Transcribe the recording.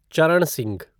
चरण सिंह